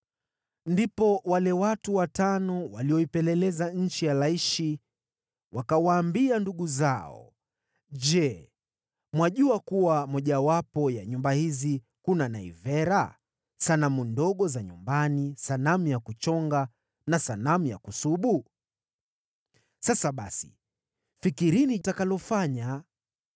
Ndipo wale watu watano waliopeleleza nchi ya Laishi wakawaambia ndugu zao, “Je, mwajua kuwa mojawapo ya nyumba hizi kuna naivera, sanamu ndogo za nyumbani, sanamu ya kuchonga na sanamu ya kusubu? Sasa basi fikirini mtakalofanya.”